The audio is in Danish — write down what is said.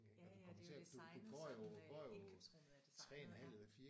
Ja ja det er jo designet som øh indkøbsrummet er designet ja